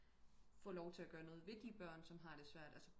Få lov til at gøre noget ved de børn der har det svært altså